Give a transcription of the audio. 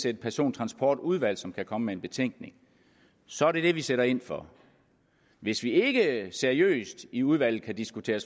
et persontransportudvalg som kan komme med en betænkning så er det det vi sætter ind på hvis vi ikke seriøst i udvalget kan diskutere